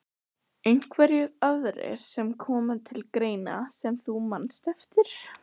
Einhverjir aðrir sem koma til greina sem þú manst eftir?